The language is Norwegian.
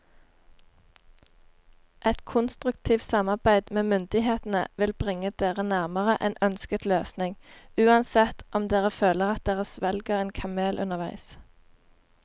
Et konstruktivt samarbeid med myndighetene vil bringe dere nærmere en ønsket løsning, uansett om dere føler at dere svelger en kamel underveis.